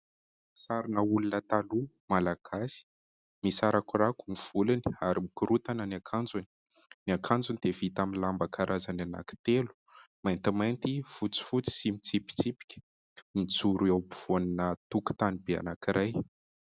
Sarina olona taloha : Malagasy, misarakorako ny volony ary mikorontana ny akanjony. Ny akanjony dia vita amin'ny lamba karazany anankitelo : maintimainty, fotsifotsy sy mitsipitsipika ; mijoro eo afovoan'ny tokotany be anankiray.